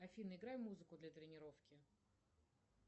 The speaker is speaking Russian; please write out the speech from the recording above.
афина играй музыку для тренировки